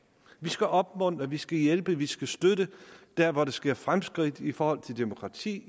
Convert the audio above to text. vi skal opmuntre vi skal hjælpe vi skal støtte der hvor der sker fremskridt i forhold til demokrati